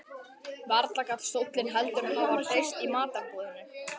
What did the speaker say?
Varla gat stóllinn heldur hafa hreyfst í matarboðinu.